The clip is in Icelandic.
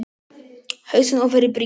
Hausinn ofan í bringu.